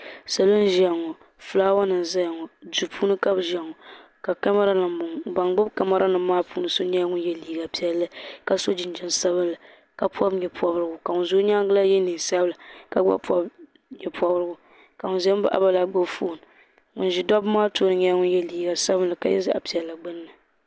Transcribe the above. Salo n ʒia ŋɔ filaawa nima n zaya ŋɔ duu puuni ka bɛ ʒia ŋɔ ka kamara nima m boŋɔ ka mamara nima maa puuni so nyɛla ŋun ye liiga piɛlli ka so jinjiɛm sabinli ka pobi nyɛpobrigu ka ŋun za o nyaanga la ye niɛn'sabila ka gba pobi nyɛ pobrigu ka ŋun zan baɣaba la gbibi fooni ŋun ʒɛ dabba maa tooni nyɛla ŋun ye liiga sabinli ka ye zaɣa piɛlli gbini.